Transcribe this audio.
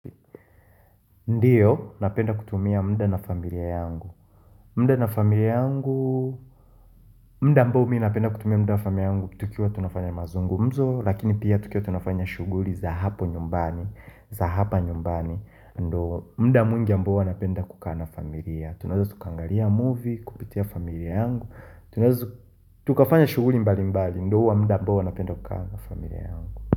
Ndio napenda kutumia muda na familia yangu, muda na familia yangu muda ambao mimi napenda kutumia muda na familia yangu, tukiwa tunafanya mazungumzo, lakini pia tukiwa tunafanya shughuli za hapo nyumbani za hapa nyumbani, ndio muda mwingi ambao napenda kukaa na familia, tunaeza tukaangalia movie, kupitia familia yangu. Tunazo, tukafanya shughuli mbali mbali, ndio huwa muda mbao napenda kukaa na familia yangu.